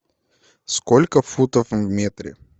сколько футов в метре